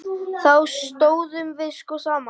Þá stóðum við sko saman.